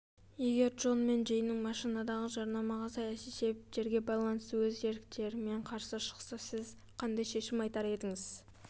егер джон мен джейн машинадағы жарнамаға саяси себептерге байланысты өз еріктерімен қарсы шықса сіз қандай шешім айтар едіңіз